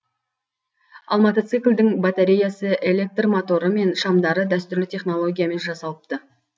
ал мотоциклдің батареясы электр моторы және шамдары дәстүрлі технологиямен жасалыпты